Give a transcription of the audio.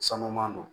Sanu don